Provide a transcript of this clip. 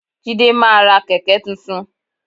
Jídé máa ra kẹ̀kẹ́ tuntun.